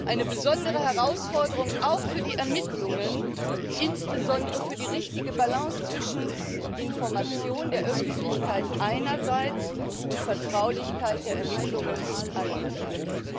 Eine besondere Herausforderung auch für die Ermittlungen, insbesondere für die richtige Balance zwischen Information der Öffentlichkeit einerseits und Vertraulichkeit der Ermittlungen andererseits.